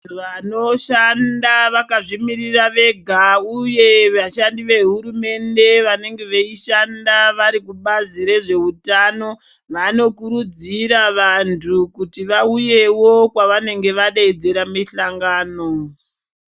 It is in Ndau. Vanoshanda vakazvimirira vega uye vashandi vehurumende vanenge veishanda vari kubazi rezveutano vanokurudzira vanhu kuti vauyewo kwavanenge vadaidzira mihlangano.